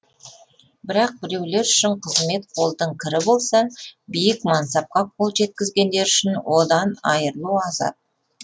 бірақ біреулер үшін қызмет қолдың кірі болса биік мансапқа қол жеткізгендер үшін одан айырылу азап